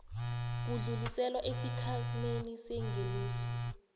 kudluliselwa esikhwameni sengeniso